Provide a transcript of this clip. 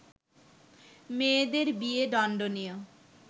মেয়েদের বিয়ে দণ্ডনীয়